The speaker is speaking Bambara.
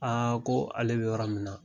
Aa ko ale bɛ yɔrɔ min na